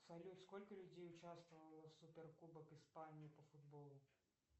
салют сколько людей участвовало в супер кубок испании по футболу